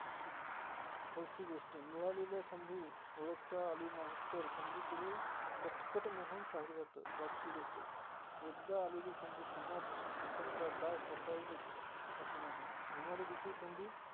चौथी गोष्ट मिळालेल्या संधी ओळखता आली नाही, तर संधी कडे कटकट म्हणून पाहिलं जात. पाचवी गोष्ट एकदा आलेली संधी पुन्हा दुसऱ्यांदा दार थोठावेलच अस नाही. येणारी दुसरी संधी.